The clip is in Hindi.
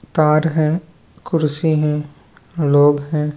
तार है कुर्सी है लोग हैं।